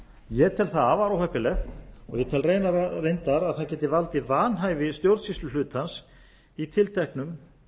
ég tel það afar óheppilegt og tel reyndar að það geti valdið vanhæfi stjórnsýsluhlutans í tilteknum